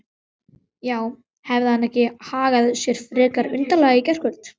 Já, hafði hann ekki hagað sér frekar undarlega í gærkvöld?